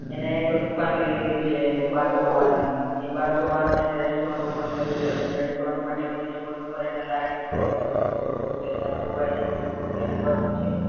એને એક દુકાન લઇ લીધી છે બરસો વાર ની ને ઈ બરસો વાર માં એને restaurant open કરવી છે કેમ restaurant માં table table ઉપર light ઉ ને એવું બધું ગોઠવવું છે ને એવું બધું એને આખું wiring ને એવું બધું કરવું છે